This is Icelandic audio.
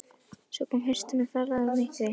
Svo kom haustið með fjarlægðirnar og myrkrið.